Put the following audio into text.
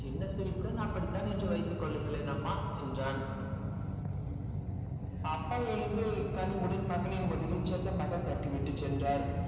சின்ன சிரிப்புடன் அப்படித்தான் என்று வைத்துக் கொள்ளுங்களேன் அம்மா என்றான் அப்பா எழுந்து கனிவுடன் மகனின் முதுகில் செல்லமாக தட்டிவிட்டு சென்றார்